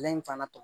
Lɛ in fana